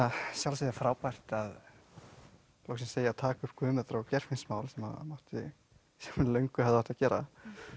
að sjálfsögðu er frábært að loksins eigi að taka upp Guðmundar og Geirfinnsmál sem fyrir löngu hefði átt að gera